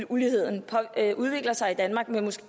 uligheden udvikler sig i danmark